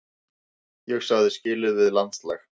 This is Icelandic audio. Ég sagði skilið við landslags